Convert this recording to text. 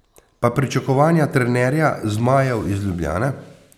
Pa pričakovanja trenerja zmajev iz Ljubljane?